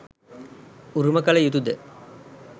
උරුම කළ යුතුද?